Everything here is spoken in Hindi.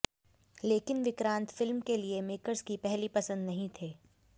लेकिन विक्रांत फिल्म के लिए मेकर्स की पहली पसंद नहीं थे